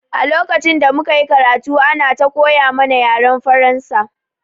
A lokacin da muka yi karatu ana ta koya mana yaren Faransa